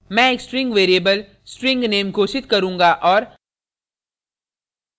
मैं एक string variable string name घोषित करूँगा और